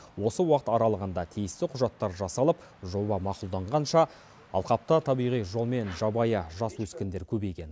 осы уақыт аралығында тиісті құжаттар жасалып жоба мақұлданғанша алқапта табиғи жолмен жабайы жас өскіндер көбейген